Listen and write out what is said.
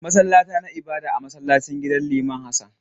Masallata na ibada a masallacin gidan liman Hassan.